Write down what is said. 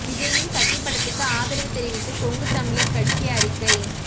விஜயின் கத்தி படத்துக்கு ஆதரவு தெரிவித்து கொங்கு தமிழர் கட்சி அறிக்கை